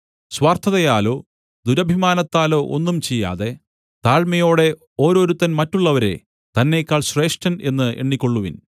സ്വാർത്ഥതയാലോ ദുരഭിമാനത്താലോ ഒന്നും ചെയ്യാതെ താഴ്മയോടെ ഓരോരുത്തൻ മറ്റുള്ളവരെ തന്നെക്കാൾ ശ്രേഷ്ഠൻ എന്ന് എണ്ണിക്കൊള്ളുവിൻ